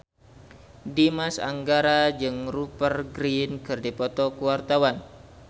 Dimas Anggara jeung Rupert Grin keur dipoto ku wartawan